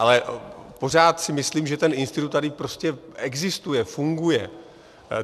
Ale pořád si myslím, že ten institut tady prostě existuje, funguje.